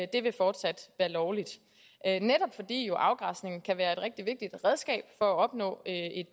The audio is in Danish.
det vil fortsat være lovligt netop fordi afgræsningen jo kan være et rigtig vigtigt redskab for at opnå